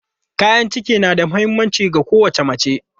Kayan kici na da mahimmanci ga kowace mace.